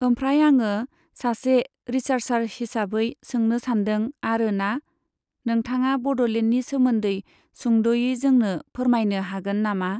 ओमफ्राय आङो सासे रिसार्चार हिसाबै सोंनो सानदों आरो ना? नोंथाङा बड'लेण्डनि सोमोन्दै सुंद'यै जोंनो फोरमायनो हागोन नामा?